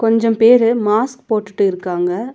கொஞ்சம் பேரு மாஸ்க் போட்டுட்டு இருக்காங்க.